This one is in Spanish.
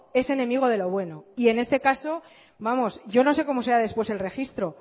es enemigo de lo bueno y en este caso vamos yo no sé cómo será después el registro